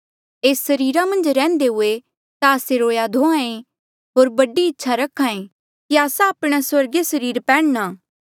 एस सरीरा मन्झ रैहन्दे हुए ता आस्से रोहां धोहां ऐें होर बड़ी इच्छा रख्हा ऐें कि आस्सा आपणे स्वर्गीय सरीर पैन्ह्णा